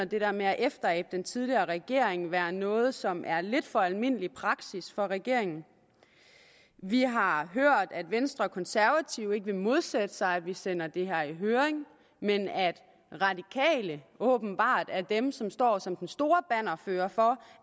det der med at efterabe den tidligere regering være noget som er lidt for almindelig praksis for regeringen vi har hørt at venstre og konservative ikke vil modsætte sig at vi sender det her i høring men at radikale åbenbart er dem som står som den store bannerfører for